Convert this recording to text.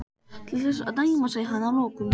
Til þess að dæma sagði hann að lokum.